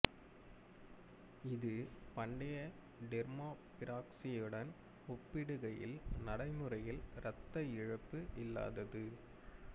இது பண்டைய டெர்மாபிறாசியனுடன் ஒப்பிடுகையில் நடைமுறையில் இரத்த இழப்பு இல்லாதது